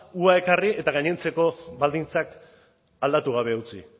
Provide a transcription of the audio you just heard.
ekarri eta gainontzeko baldintzak aldatu gabe utzi